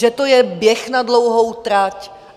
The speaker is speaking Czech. Že to je běh na dlouhou trať?